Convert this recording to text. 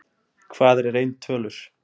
Hvað eru rauntölur?